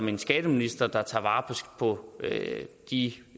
en skatteminister der tager vare på de